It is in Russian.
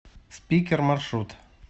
спикер маршрут